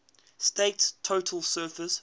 state's total surface